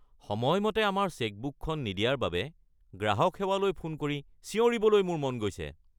সময়মতে আমাৰ চেকবুকখন নিদিয়াৰ বাবে গ্ৰাহক সেৱালৈ ফোন কৰি চিঞৰিবলৈ মোৰ মন গৈছে।